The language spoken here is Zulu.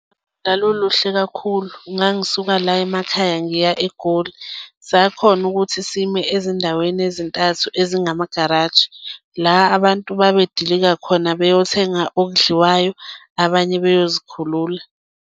Lwaluluhle kakhulu, ngangisuka la emakhaya ngiya eGoli, sakhona ukuthi sime ezindaweni ezintathu ezingamagaraji, la abantu babe dilika khona beyothenga okudliwayo, abanye beyozikhulula.